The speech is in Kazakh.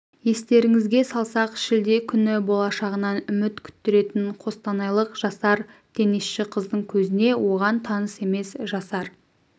естеріңізге салсақ шілде күні болашағынан үміт күттіретін қостанайлық жасар тенисші қыздың көзіне оған таныс емес жасар